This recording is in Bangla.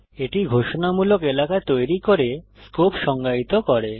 এটি ঘোষণামূলক এলাকা তৈরী করে স্কোপ সংজ্ঞায়িত করে